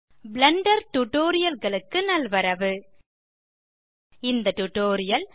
Blender Tutorialகளுக்கு நல்வரவு இந்த டியூட்டோரியல்